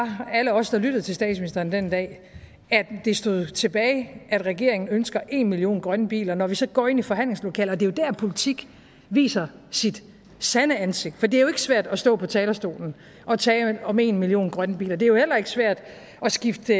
alle os der lyttede til statsministeren den dag at det stod tilbage at regeringen ønsker en million grønne biler når vi så går ind i forhandlingslokalet er det jo der politik viser sit sande ansigt for det er jo ikke svært at stå på talerstolen og tale om en million grønne biler det er jo heller ikke svært at skifte